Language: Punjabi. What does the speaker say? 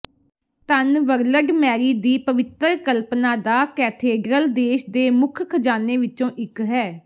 ਧੰਨ ਵਰਲਡ ਮੈਰੀ ਦੀ ਪਵਿੱਤਰ ਕਲਪਨਾ ਦਾ ਕੈਥੇਡ੍ਰਲ ਦੇਸ਼ ਦੇ ਮੁੱਖ ਖਜਾਨੇ ਵਿੱਚੋਂ ਇੱਕ ਹੈ